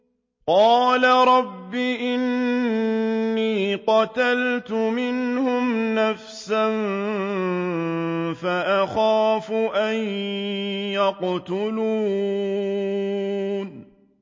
قَالَ رَبِّ إِنِّي قَتَلْتُ مِنْهُمْ نَفْسًا فَأَخَافُ أَن يَقْتُلُونِ